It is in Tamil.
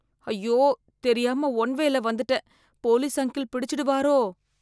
ஐயோ, தெரியாம ஒன்வேயில வந்துட்டேன், போலீஸ் அங்கிள் பிடிச்சிடுவாரோ.